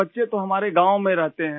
बच्चे तो हमारे गाँव में रहते हैं